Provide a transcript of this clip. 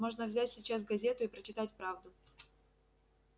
можно взять сейчас газету и прочитать правду